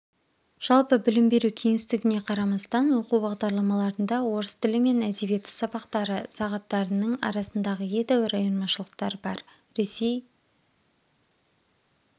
жалпы білім беру кеңістігіне қарамастан оқу бағдарламаларында орыс тілі мен әдебиеті сабақтары сағаттарының арасындағы едәуір айырмашылықтар бар ресей